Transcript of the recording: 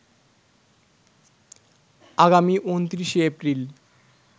আগামী ২৯শে এপ্রিল